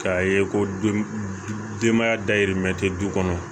K'a ye ko denbaya dayirimɛ tɛ du kɔnɔ